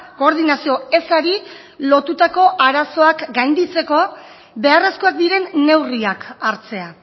koordinazio ezari lotutako arazoak gainditzeko beharrezkoak diren neurriak hartzea